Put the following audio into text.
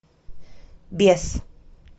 бес